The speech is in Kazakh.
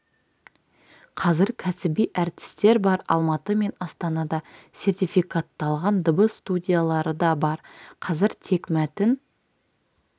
қазір кәсіби әртістер бар алматы мен астанада сертификатталған дыбыс студиялары да бар қазір тек мәтін